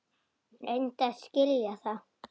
Reyndu að skilja það!